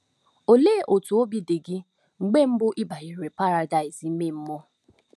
Olee otú obi dị gị mgbe mbụ ibanyere paradaịs ime mmụọ?